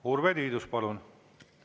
Urve Tiidus, palun!